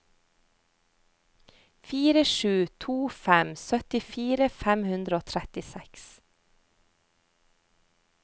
fire sju to fem syttifire fem hundre og trettiseks